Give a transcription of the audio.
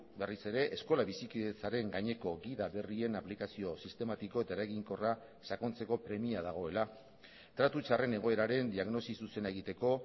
berriz ere eskola bizikidetzaren gaineko gida berrien aplikazio sistematiko eta eraginkorra sakontzeko premia dagoela tratu txarren egoeraren diagnosi zuzena egiteko